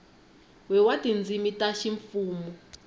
we wa tindzimi ta ximfumu